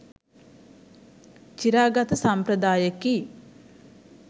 චිරාගත සම්ප්‍රදායකි.